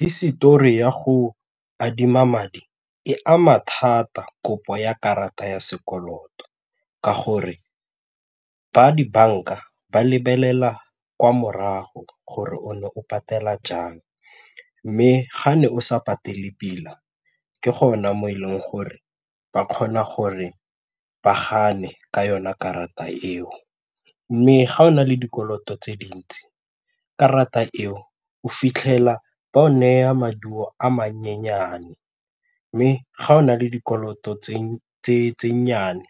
Hisetori ya go adima madi e ama thata kopo ya karata ya sekoloto ka gore ba dibanka ba lebelela kwa morago gore o ne o patela jang mme ga ne o sa patele pila ke gona mo e leng gore ba kgona gore ba gane ka yona karata eo mme ga o na le dikoloto tse dintsi ke rata eo o fitlhela ba o neya maduo a manyenyane mme ga o na le dikoloto tse nnyane